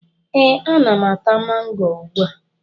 Ee, ana m ata mango ugbua